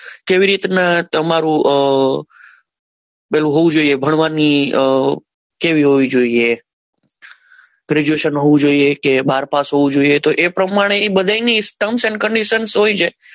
કેવી રીતના તમારું પેલું હોવું જોઈએ ભણવાની કેવી હોવી જોઈએ ગ્રેજ્યુએશન હોવું જોઈએ કે બાર પાસ હોવું જોઈએ તો એ પ્રમાણે બધાયની સમાન કન્ડિશન હોય છે.